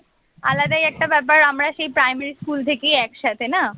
আলাদাই একটা ব্যাপার আমরা সেই primary স্কুল থেকেই একসাথে না